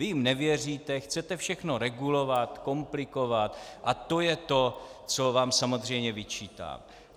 Vy jim nevěříte, chcete všechno regulovat, komplikovat a to je to, co vám samozřejmě vyčítám.